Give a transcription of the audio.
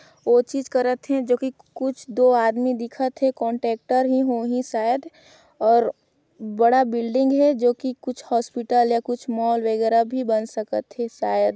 ओ चीज़ कर करथे जो की कुछ दो आदमी दिखथे कोंट्रेक्टर हिं होहि शायद और बड़ा बिल्डिंग है जो कि कुछ हॉस्पिटल या कुछ मॉल वगैरा भी बन सकत हे शायद--